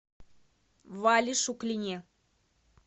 вале шуклине